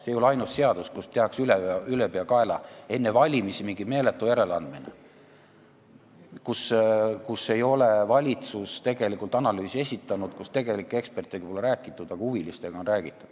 See ei ole ainus seadus, millega tehakse ülepeakaela enne valimisi mingi meeletu järeleandmine, mille puhul valitsus ei ole tegelikult analüüsi esitanud, ekspertidega pole räägitud, aga huvilistega küll.